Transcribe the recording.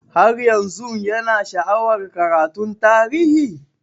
Har yanzun Yana sha'awar karatun tarihi?